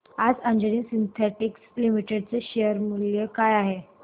आज Anjani synthetics limited चे share मूल्य काय आहे